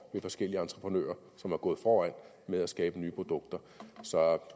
ved forskellige entreprenører som er gået foran med at skabe nye produkter så